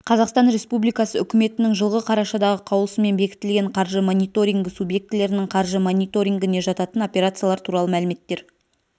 қазақстан республикасы үкіметінің жылғы қарашадағы қаулысымен бекітілген қаржы мониторингі субъектілерінің қаржы мониторингіне жататын операциялар туралы мәліметтер